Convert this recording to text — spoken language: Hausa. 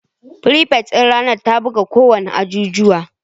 Firifet din ranar ta guba kowanne ajijuwa